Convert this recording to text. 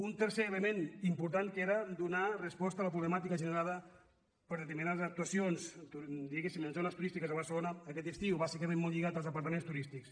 un tercer element important era donar resposta a la problemàtica generada per determinades actuacions diguéssim en zones turístiques de barcelona aquest estiu bàsicament molt lligat als apartaments turístics